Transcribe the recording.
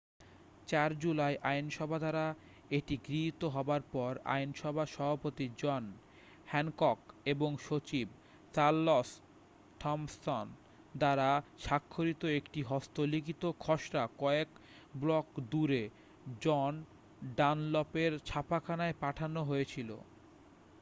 4 July আইনসভা দ্বারা এটি গৃহীত হবার পর আইনসভার সভাপতি জন হ্যানকক এবং সচিব চারলস থমসন দ্বারা স্বাক্ষরিত একটি হস্তলিখিত খসড়া কয়েক ব্লক দূরে জন ডানলপের ছাপাখানায় পাঠানো হয়েছিল